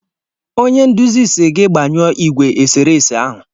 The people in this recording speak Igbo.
Onye nduzi si gị gbanyụọ ìgwè eserese ahụ!